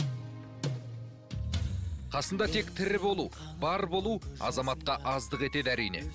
қасында тек тірі болу бар болу азаматқа аздық етеді әрине